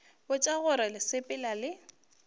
botša gore le sepela le